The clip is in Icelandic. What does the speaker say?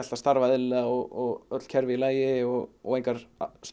að starfa eðlilega og öll kerfi í lagi og og engar